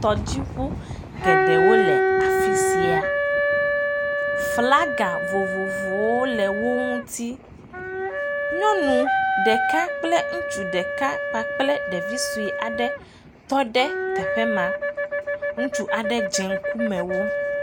tɔdziʋu geɖewo le afisia flaga vovovowo le wó ŋuti nyɔŋu ɖeka kple ŋutsu ɖeka kpakple ɖevi soe aɖe tɔɖe teƒe ma ŋutsu aɖe dze ŋkume wo